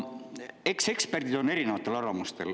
Eks eksperdid ole erinevatel arvamustel.